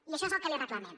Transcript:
i això és el que li reclamem